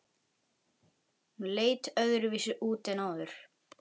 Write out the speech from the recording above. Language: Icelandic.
Hún leit öðruvísi út en áður.